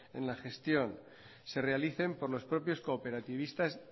en la gestión se realicen por los propios cooperativistas